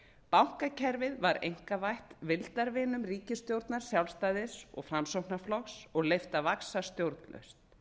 bankakerfið var einkavætt vildarvinum ríkisstjórnar sjálfstæðis og framsóknarflokks og leyft að vaxa stjórnlaust